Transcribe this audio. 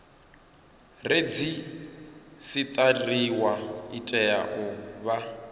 redzisiṱariwa i tea u vha